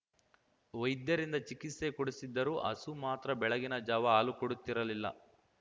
ವೈದ್ಯರಿಂದ ಚಿಕಿತ್ಸೆ ಕೊಡಿಸಿದ್ದರೂ ಹಸು ಮಾತ್ರ ಬೆಳಗಿನ ಜಾವ ಹಾಲು ಕೊಡುತ್ತಿರಲಿಲ್ಲ